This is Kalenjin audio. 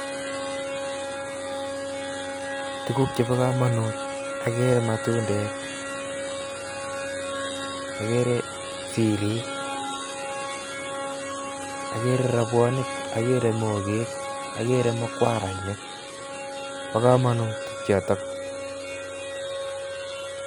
Tuguk chebo komonut, akere matundek, akere sirik, akere robwonik, akere mokek, akere mukwarainik, bo komonut chotok.